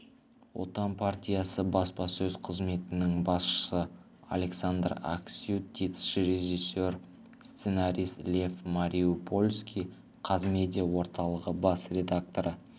отан партиясы баспасөз қызметінің басшысы александр аксютиц режиссер сценарист лев мариупольский қазмедиа орталығы бас директоры